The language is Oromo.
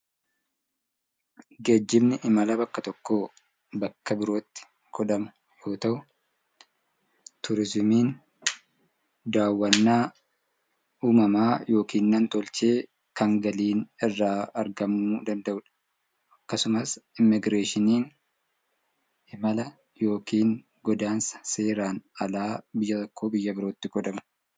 Geejjibni imala bakka tokkoo bakka birootti godhamu yoo ta'u, turizimiin daawwannaa uumamaa yookiin nam-tolchee kan galiin irraa argamuu danda'udha. Akkasumas Immigireeshiniin imala yookiin godaansa seeraan alaa biyya tokkoo gara biyya birootti godhamudha.